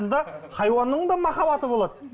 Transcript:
хайуанның да махаббаты болады